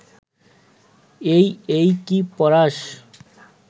এই এই কি পড়াস